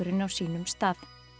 á sínum stað